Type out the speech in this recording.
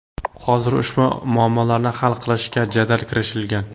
Hozir ushbu muammolarni hal qilishga jadal kirishilgan.